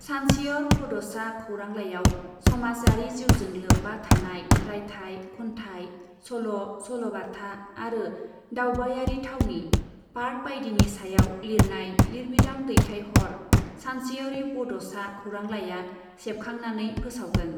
सानसेयर बड'सा खौरांलाइयाव समाजयारि जिउजों लोब्बा थानाय रायथाय , खन्थाय , सल' , सल'बाथा आरो दावबायारि थावनि , पार्क बाइदिनि सायाव लिरनाय लिरबिदां दैथाय हर सानसेयरि बड' सा खौरांलाइया सेबखांनाननै फोसावगोन ।